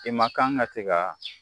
I man kan ka se ka